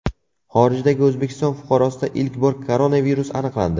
Xorijdagi O‘zbekiston fuqarosida ilk bor koronavirus aniqlandi.